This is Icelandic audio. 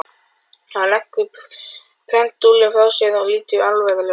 Hann leggur pendúlinn frá sér og lítur alvarlegur á mig.